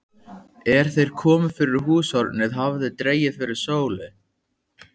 Er þeir komu fyrir húshornið hafði dregið fyrir sólu.